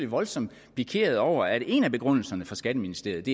voldsomt pikeret over at en af begrundelserne fra skatteministeriet